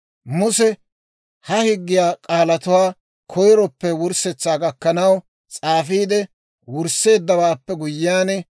Muse ha higgiyaa k'aalatuwaa koyiroppe wurssetsaa gakkanaw, s'aafiide wursseeddawaappe guyyiyaan,